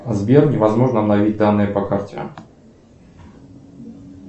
сбер невозможно обновить данные по карте